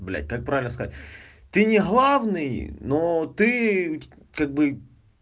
блять как правильно сказать ты не главный но ты как бы